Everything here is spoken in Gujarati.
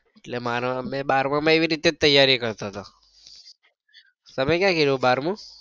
એટલે મેં બારમા માં એવી રીતે જ તૈયારી કરતો હતો તમે ક્યાં કયૃ બારમું?